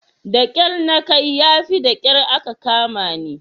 Da kyar na kai yafi da kyar aka kamani.